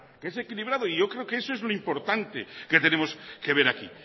que es equilibrado y yo creo que eso es lo importante que tenemos que ver aquí